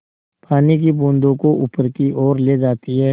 पानी की बूँदों को ऊपर की ओर ले जाती है